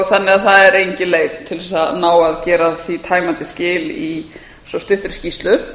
þannig að það er engin leið til þess að ná að gera því tæmandi skil í svo stuttri skýrslu